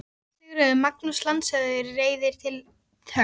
SÉRA SIGURÐUR: Magnús landshöfðingi reiðir hátt til höggs.